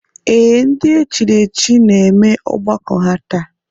Ee, ndị e chiri echichi na-eme ọgbakọ ha taa